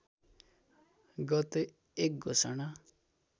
गते एक घोषणा